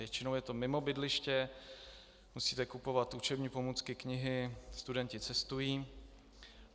Většinou je to mimo bydliště, musíte kupovat učební pomůcky, knihy, studenti cestují.